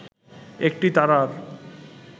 একটি তারার